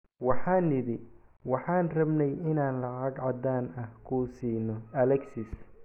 “Waxaan nidhi waxaan rabnay inaan lacag caddaan ah ku siinno Alexis.